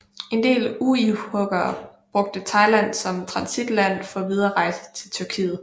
En del uighurere brugte Thailand som transitland for videre rejse til Tyrkiet